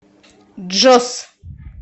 джос